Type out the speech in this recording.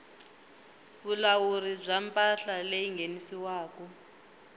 vulawuri bya mpahla leyi nghenisiwaku